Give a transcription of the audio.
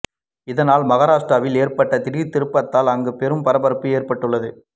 இதனால் மகாராஷ்டிராவில் ஏற்பட்ட இந்த திடீர் திருப்பத்தால் அங்கு பெரும் பரபரப்பு ஏற்பட்டுள்ளது